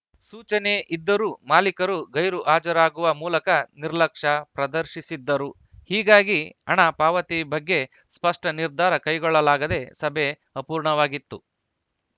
ಸೂಚನೆ ಇದ್ದರೂ ಮಾಲೀಕರು ಗೈರುಹಾಜರಾಗುವ ಮೂಲಕ ನಿರ್ಲಕ್ಷ್ಯ ಪ್ರದರ್ಶಿಸಿದ್ದರು ಹೀಗಾಗಿ ಹಣ ಪಾವತಿ ಬಗ್ಗೆ ಸ್ಪಷ್ಟನಿರ್ಧಾರ ಕೈಗೊಳ್ಳಲಾಗದೆ ಸಭೆ ಅಪೂರ್ಣವಾಗಿತ್ತು